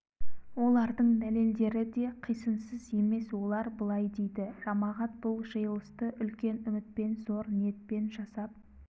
олардың дәлелдері де қисынсыз емес олар былай дейді жамағат бұл жиылысты үлкен үмітпен зор ниетпен жасап